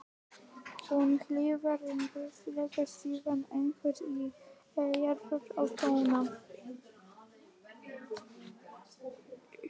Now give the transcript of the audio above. Hún hikaði en hvíslaði síðan einhverju í eyrað á Tóta.